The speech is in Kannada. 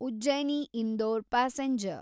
ಉಜ್ಜೈನಿ ಇಂದೋರ್ ಪ್ಯಾಸೆಂಜರ್